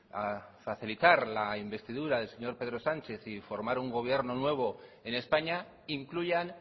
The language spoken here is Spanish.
facilitar la investidura del señor pedro sánchez y formar un gobierno nuevo en españa incluyan